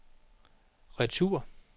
retur